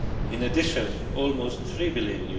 In addition, almost EUR 3 billion